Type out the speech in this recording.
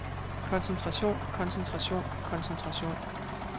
koncentration koncentration koncentration